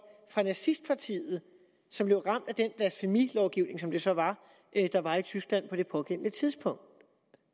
fra nazistpartiet som blev ramt af den blasfemilovgivning som det så var der var i tyskland på det pågældende tidspunkt